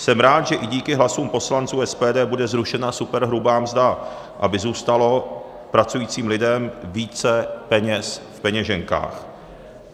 Jsem rád, že i díky hlasům poslanců SPD bude zrušena superhrubá mzda, aby zůstalo pracujícím lidem více peněz v peněženkách.